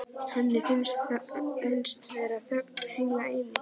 Henni finnst vera þögn heila eilífð.